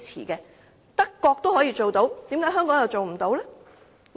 既然德國也可以做到，為何香港又做不到呢？